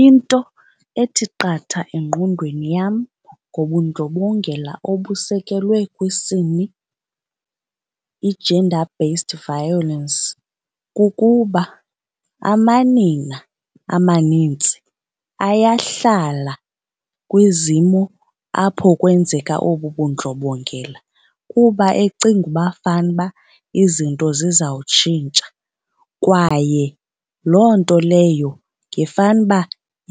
Into ethi qatha engqondweni yam ngobundlobongela obusekelwe kwisini, i-gender based violence, kukuba amanina amanintsi ayahlala kwizimo apho kwenzeka obu bundlobongela kuba ecinga uba fanuba izinto zizawutshintsha. Kwaye loo nto leyo ngefanuba